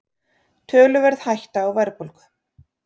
Töluverð hætta á verðbólgu